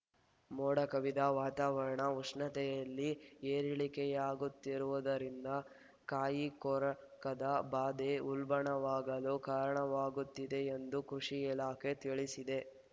ಮೋಡ ಕವಿದ ವಾತಾವರಣ ಉಷ್ಣತೆಯಲ್ಲಿ ಏರಿಳಿಕೆಯಾಗುತ್ತಿರುವುದರಿಂದ ಕಾಯಿ ಕೊರಕದ ಬಾಧೆ ಉಲ್ಬಣವಾಗಲು ಕಾರಣವಾಗುತ್ತಿದೆ ಎಂದು ಕೃಷಿ ಇಲಾಖೆ ತಿಳಿಸಿದೆ